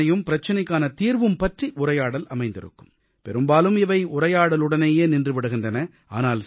பிரச்சினையும் பிரச்சினைக்கான தீர்வும் பற்றி உரையாடல் அமைந்திருக்கும் பெரும்பாலும் இவை உரையாடலுடனேயே நின்று விடுகின்றன